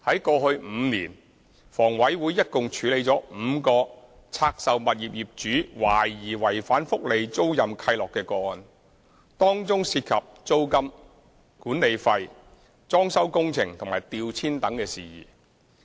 過去5年，房委會一共處理了5個拆售物業業主懷疑違反福利租賃契諾的個案，當中涉及租金、管理費、裝修工程和調遷等事宜。